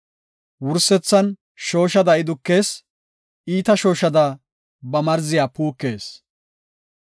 Wursethan shooshada I dukees; iita shooshada ba marziya puukees.